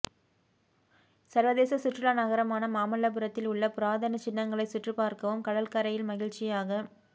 சா்வதேச சுற்றுலா நகரமான மாமல்லபுரத்தில் உள்ள புராதனச்சின்னங்களை சுற்றிப்பாா்க்கவும் கடல்கரையில் மகிழ்ச்சியாக